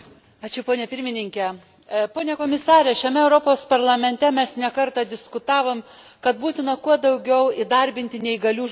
Pone Komisare, šiame Europos Parlamente, mes ne karta diskutavome, kad būtina kuo daugiau į įdarbinti neįgalių žmonių.